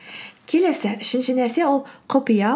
келесі үшінші нәрсе ол құпия